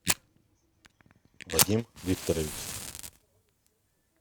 вадим викторович